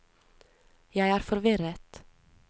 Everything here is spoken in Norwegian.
jeg er forvirret